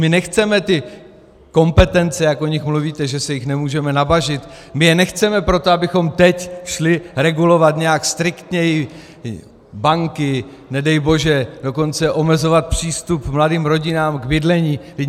My nechceme ty kompetence, jak o nich mluvíte, že se jich nemůžeme nabažit, my je nechceme proto, abychom teď šli regulovat nějak striktněji banky, nedej bože dokonce omezovat přístup mladým rodinám k bydlení.